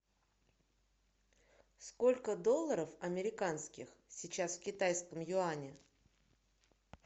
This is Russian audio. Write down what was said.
сколько долларов американских сейчас в китайском юане